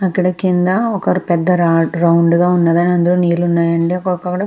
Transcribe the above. అక్కడ కింద ఒక పెద్ద రాడ్ రౌండ్ గా ఉన్నదండి అందులో నీళ్ళు ఉన్నాయండి